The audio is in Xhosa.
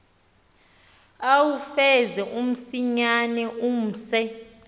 uwufeze msinyane umse